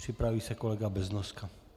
Připraví se kolega Beznoska.